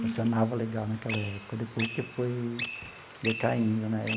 Funcionava legal naquela época, depois que foi decaindo né.